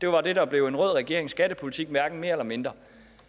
var det der blev en rød regerings skattepolitik hverken mere eller mindre